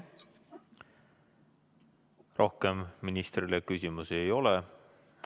Rohkem ministrile küsimusi ei ole.